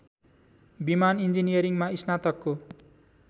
विमान इन्जिनियरिङमा स्नातकको